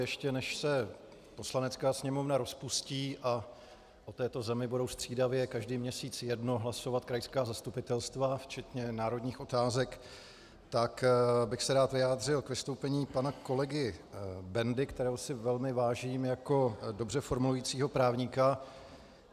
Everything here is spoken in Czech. Ještě než se Poslanecká sněmovna rozpustí a o této zemi budou střídavě každý měsíc jednou hlasovat krajská zastupitelstva včetně národních otázek, tak bych se rád vyjádřil k vystoupení pana kolegy Bendy, kterého si velmi vážím jako dobře formulujícího právníka.